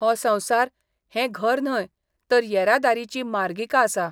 हो संसार हे घर न्हय तर येरादारीची मार्गिका आसा.